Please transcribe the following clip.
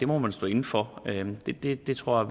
må man stå inde for det det tror